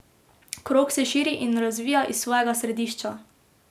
Krog se širi in razvija iz svojega središča.